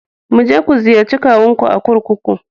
Mu je ku ziyarci kawunku a kurkuku.